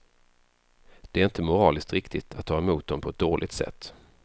Det är inte moraliskt riktigt att ta emot dem på ett dåligt sätt.